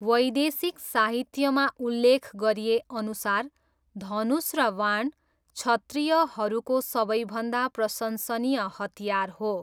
वैदिक साहित्यमा उल्लेख गरिएअनुसार धनुष र बाण क्षत्रियहरूको सबैभन्दा प्रशंसनीय हतियार हो।